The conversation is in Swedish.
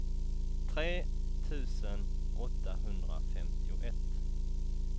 tre tusen åttahundrafemtioett